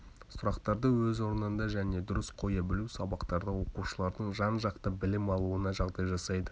сұрақтарды өз орнында және дұрыс қоя білу сабақтарда оқушылардың жан-жақты білім алуына жағдай жасайды